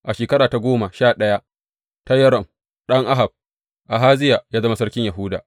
A shekara ta goma sha ɗaya ta Yoram ɗan Ahab, Ahaziya ya zama sarkin Yahuda.